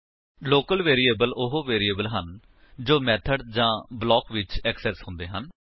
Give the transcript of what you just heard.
local variable ਉਹ variable ਹਨ ਜੋ ਮੇਥਡ ਜਾਂ ਬਲਾਕ ਵਿੱਚ ਏਕਸੇਸ ਹੁੰਦੇ ਹਨ